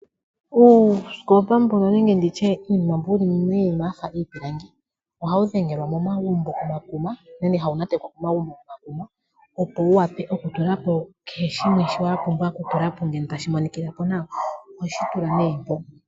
Uusikopa nenge nditye uunima mbono wu li miinima ya fa iipilangi ohawu dhengelwa momagumbo momakuna nenge hawu nantekwa momagumbo komakuma opo wu wape oku tula po kehe shimwe shono sha pumbwa oku tulwa po tashi monikithapo nawa, oho shi tula nee mpo.